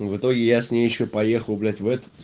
в итоге я с ней ещё поехал блять в этот